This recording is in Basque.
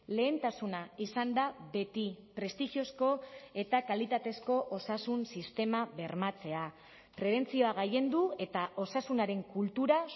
lehentasuna izan da beti prestigiozko eta kalitatezko osasun sistema bermatzea prebentzioa gailendu eta osasunaren kultura